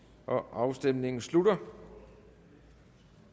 afstemningen slutter